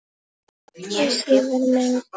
Hvers ég var megnug.